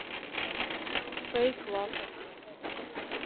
фэйк лав